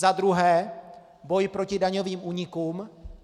Za druhé, boj proti daňovým únikům.